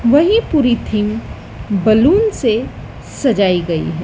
वही पूरी theme balloon से सजाई गई है।